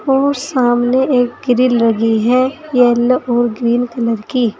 ओ सामने एक ग्रिल लगी है येलो और ग्रीन कलर की।